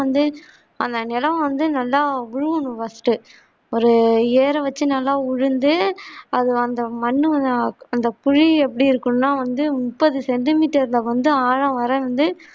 அந்த நிலம் வந்து நல்லா குலுங்கனும் first ஒரு ஏற வெச்சி நல்லா உளுந்து அது வந்து மண்ணு ஆஹ் அந்த குழி எப்படி இருக்கணும்னா வந்து முப்பது சென்ரிமீட்டர் ல வந்துஆழமாக இருந்து